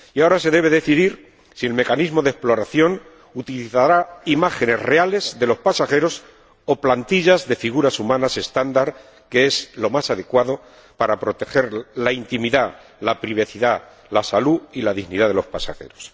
Y ahora se debe decidir si el mecanismo de exploración utilizará imágenes reales de los pasajeros o plantillas de figuras humanas estándar, que es lo más adecuado para proteger la intimidad, la privacidad, la salud y la dignidad de los pasajeros.